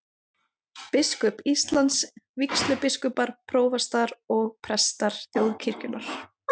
Biskup Íslands, vígslubiskupar, prófastar og prestar þjóðkirkjunnar.